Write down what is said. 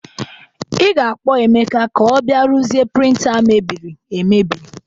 Ị ga-akpọ Emeka ka ọ bịa ruezie prịnta a mebiri emebi.